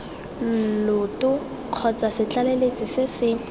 lloto kgotsa setlaleletsi se se